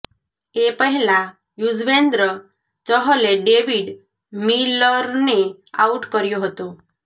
એ પહેલાં યુજવેન્દ્ર ચહલે ડેવિડ મિલરને આઉટ કર્યો હતો